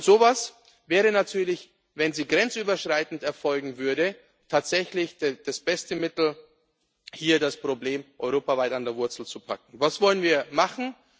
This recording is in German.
gibt. So etwas wäre natürlich, wenn es grenzüberschreitend erfolgen würde, tatsächlich das beste Mittel, um hier das Problem europaweit an der Wurzel zu packen. Was wollen wir